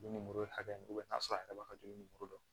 Dumuni hakɛ min i bi taa sɔrɔ a yɛrɛ b'a joli ni muru don